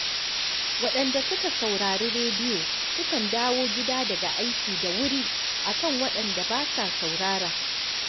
Waɗanda suka saurari rediyo sukan dawo gida daga aiki da wuri a kan waɗanda ba sa saurara